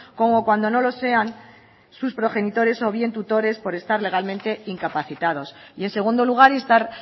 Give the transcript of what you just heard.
como cuando no lo sean sus progenitores o bien tutores por estar legalmente incapacitados y en segundo lugar instar